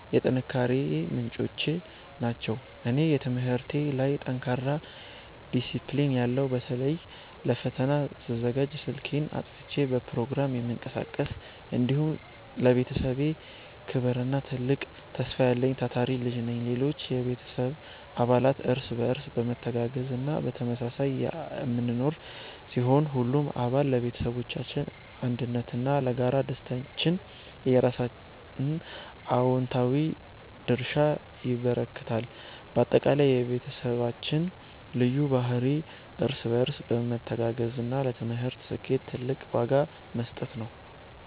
የጥንካሬዬ ምንጮች ናቸው። እኔ፦ በትምህርቴ ላይ ጠንካራና ዲሲፕሊን ያለው (በተለይ ለፈተና ስዘጋጅ ስልኬን አጥፍቼ በፕሮግራም የምቀሳቀስ)፣ እንዲሁም ለቤተሰቤ ክብርና ትልቅ ተስፋ ያለኝ ታታሪ ልጅ ነኝ። ሌሎች የቤተሰብ አባላት፦ እርስ በርስ በመተጋገዝና በመተሳሰብ የምንኖር ሲሆን፣ ሁሉም አባል ለቤተሰባችን አንድነትና ለጋራ ደስታችን የየራሱን አዎንታዊ ድርሻ ያበረክታል። ባጠቃላይ፣ የቤተሰባችን ልዩ ባህሪ እርስ በርስ መተጋገዝና ለትምህርት ስኬት ትልቅ ዋጋ መስጠት ነው።